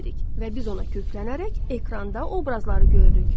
Və biz ona köklənərək ekranda obrazları görürük.